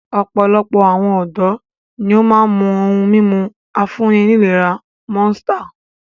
Ọ̀pọ̀lọpọ̀ awon ọ̀dọ́ ni ó máa ń mu ohun-mímu afúnni-nílera Monster.